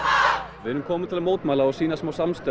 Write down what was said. við erum komin til að mótmæla og sýna smá samstöðu